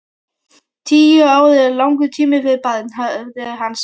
Tíu ár eru langur tími fyrir barn, hafði hann sagt.